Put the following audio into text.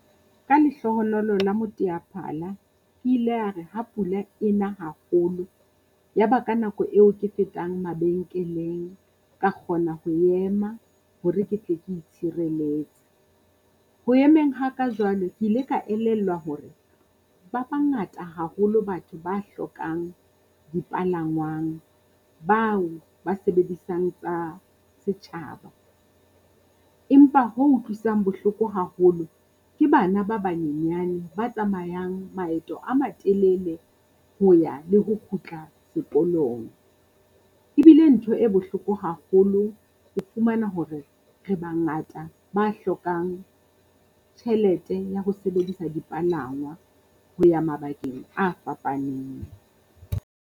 Ka lehlohonolo la moteaphala, ke ile a re ha pula e na haholo, ya ba ka nako eo ke fetang mabenkeleng, ka kgona ho ema hore ke tle ke itshireletse. Ho emeng ha ka jwalo ke ile ka elellwa hore ba bangata haholo batho ba hlokang dipalangwang, bao ba sebedisang tsa setjhaba. Empa ho utlwisang bohloko haholo ke bana ba banyenyane ba tsamayang maeto a matelele ho ya le ho kgutla sekolong. E bi le ntho e bohloko haholo ho fumana hore re bangata ba hlokang tjhelete ya ho sebedisa dipalangwa ho ya mabakeng a fapaneng.